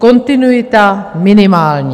Kontinuita minimální.